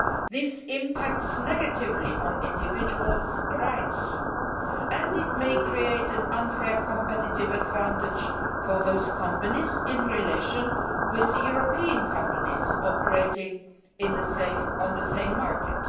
This impacts negatively on individuals' rights and may create an unfair competitive advantage for those companies over the European companies operating on the same market.